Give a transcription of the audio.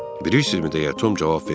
Bilirsizmi deyər Tom cavab verdi.